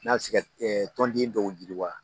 N'a bɛ se ka tɔnden dɔw yiriwa